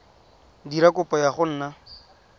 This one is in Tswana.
dira kopo ya go nna